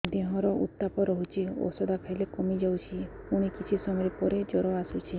ଦେହର ଉତ୍ତାପ ରହୁଛି ଔଷଧ ଖାଇଲେ କମିଯାଉଛି ପୁଣି କିଛି ସମୟ ପରେ ଜ୍ୱର ଆସୁଛି